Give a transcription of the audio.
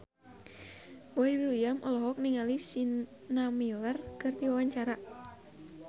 Boy William olohok ningali Sienna Miller keur diwawancara